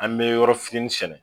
An be yɔrɔ fitini sɛnɛ